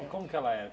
E como que ela era?